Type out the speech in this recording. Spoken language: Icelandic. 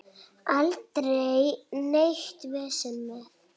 Aldrei neitt vesen með